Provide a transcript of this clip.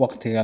waqtiga